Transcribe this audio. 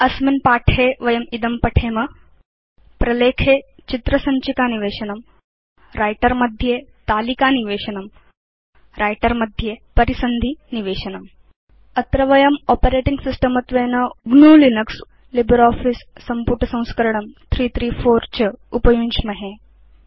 अस्मिन् पाठे वयम् इदं पठेम प्रलेखे चित्र सञ्चिका निवेशनम् व्रिटर मध्ये तालिकानिवेशनम् व्रिटर मध्ये परिसन्धि निवेशनम् अत्र वयम् आपरेटिंग सिस्टम् त्वेन लिनक्स इति लिब्रियोफिस संपुटसंस्करणं 334 च उपयुञ्ज्महे